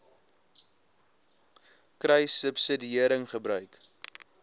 kruissubsidiëringgebruik